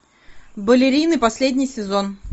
балерины последний сезон